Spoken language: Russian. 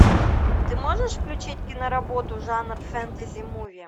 ты можешь включить киноработу жанр фэнтези муви